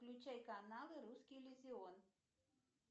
включай канал русский иллюзион